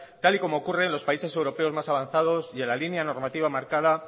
tal y como ocurre en los países europeos más avanzados y en la línea normativa marcada